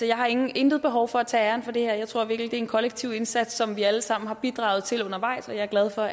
jeg har intet intet behov for at tage æren for det her jeg tror virkelig det er en kollektiv indsats som vi alle sammen har bidraget til undervejs og jeg er glad for